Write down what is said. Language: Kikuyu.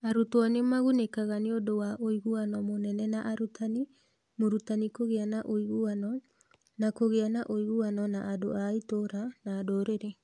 Arutwo nĩ magunĩkaga nĩ ũndũ wa ũiguano mũnene na arutani (mũrutani kũgĩa na ũiguano) na kũgĩa na ũiguano na andũ a itũũra na ndũrĩrĩ.